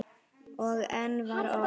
Og enn var ort.